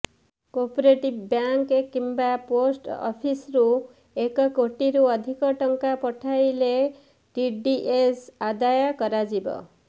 cooperative bank କିମ୍ବା post ଅଫିସରୁ ଏକ କୋଟିରୁ ଅଧିକ ଟଙ୍କା ଉଠାଇଲେ ଟିଡିଏସ ଆଦାୟ କରାଯିବ